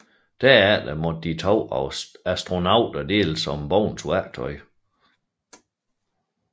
Derefter måtte de to astronauter deles om Bowens værktøj